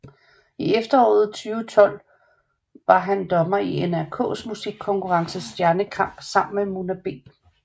I efteråret 2012 var han dommer i NRKs musikkonkurrence Stjernekamp sammen med Mona B